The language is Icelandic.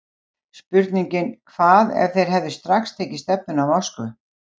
Spurningin Hvað ef þeir hefðu strax tekið stefnuna á Moskvu?